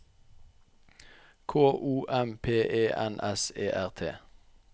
K O M P E N S E R T